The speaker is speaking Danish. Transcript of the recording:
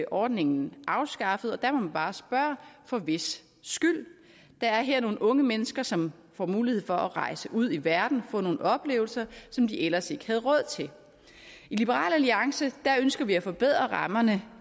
ordningen afskaffet og der må man bare spørge for hvis skyld der er her nogle unge mennesker som får mulighed for at rejse ud i verden og få nogle oplevelser som de ellers ikke havde råd til i liberal alliance ønsker vi at forbedre rammerne